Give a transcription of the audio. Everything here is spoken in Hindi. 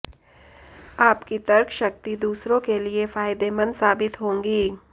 आपकी तर्क शक्ति दूसरों के लिये फायदेमंद साबित होंगी